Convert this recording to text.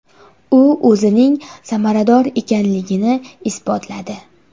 U o‘zining samarador ekanligini isbotladi.